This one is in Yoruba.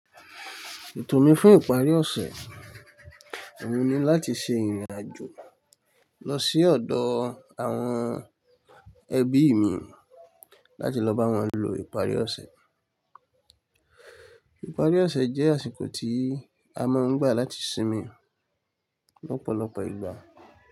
Ètò mi fún ìparí ọ̀sẹ̀, èmi ni láti ṣe ìrìnàjò lọ sí ọ̀dọ̀ àwọn ẹbií mi láti lọ bá wọn lo ìparí ọ̀sẹ̀. Ìparí ọ̀sẹ̀ jẹ́ àsìkò tí a máa ń gbà láti sinmi lọ́pọ̀lọpọ̀ ìgbà.